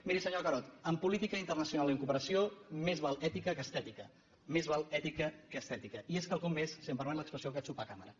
miri senyor carod en política internacional i en cooperació més val ètica que estètica més val ètica que estètica i és quelcom més si em permet l’expressió que xupar càmera